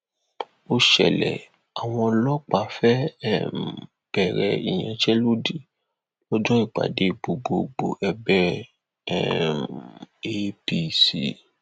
ó ṣẹlẹ àwọn ọlọpàá fẹẹ um bẹrẹ ìyanṣẹlódì lọjọ ìpàdé gbọgbẹọ ẹgbẹ um apc